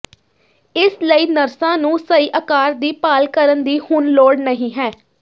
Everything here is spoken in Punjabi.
ਇਸ ਲਈ ਨਰਸਾਂ ਨੂੰ ਸਹੀ ਆਕਾਰ ਦੀ ਭਾਲ ਕਰਨ ਦੀ ਹੁਣ ਲੋੜ ਨਹੀਂ ਹੈ